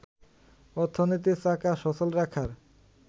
অর্থনীতির চাকা সচল রাখার